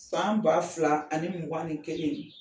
San ba fila ani mugan ni kelen